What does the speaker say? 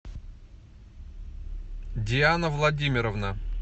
диана владимировна